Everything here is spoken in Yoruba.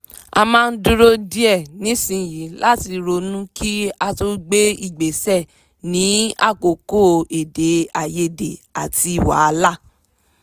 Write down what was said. a máa ń dúró díẹ̀ nísìnyí láti ronú kí a tó gbé ìgbésẹ̀ ní àkókò èdèàìyedè àti wàhálà